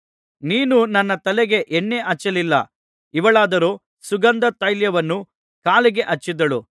ನೀನು ನನ್ನ ತಲೆಗೆ ಎಣ್ಣೆ ಹಚ್ಚಲಿಲ್ಲ ಇವಳಾದರೋ ಸುಗಂಧ ತೈಲವನ್ನು ಕಾಲಿಗೆ ಹಚ್ಚಿದಳು